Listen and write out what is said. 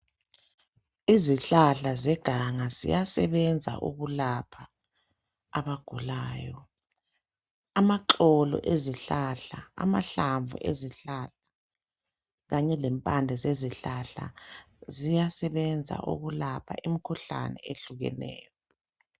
Izihlahla zeganga ziyasebenza ukulapha abagulayo amaxolo ezihlahla amahlamvu ezihlahla kanye lempande zezihlahla ziyasebenza ukulapha imikhuhlane ehlukeneyo.